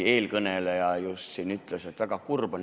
Eelkõneleja just ütles, et väga kurb on.